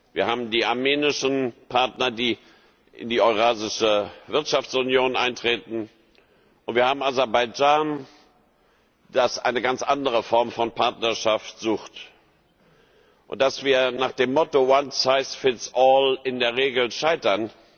Wir haben die armenischen Partner, die in die Eurasische Wirtschaftsunion eintreten, und wir haben Aserbaidschan, das eine ganz andere Form von Partnerschaft sucht. Dass wir nach dem Motto in der Regel scheitern,